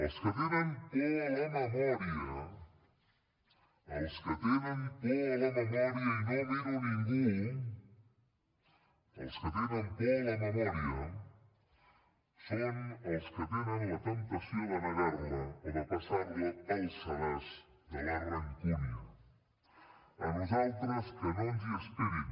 els que tenen por a la memòria els que tenen por a la memòria i no miro a ningú els que tenen por a la memòria són els que tenen la temptació de negar la o de passar la pel sedàs de la rancúnia a nosaltres que no ens hi esperin